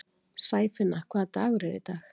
Sæfinna, hvaða dagur er í dag?